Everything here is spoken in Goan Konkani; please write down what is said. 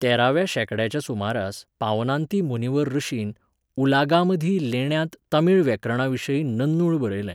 तेराव्या शेंकड्याच्या सुमाराक पावनांती मुनिवार ऋषीन उलागामधी लेण्यांत तमिळ व्याकरणाविशीं नन्नूळ बरयलें.